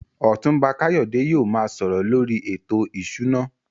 Otunba Kayode yóò máa sọ̀rọ̀ lórí ètò ìṣúná.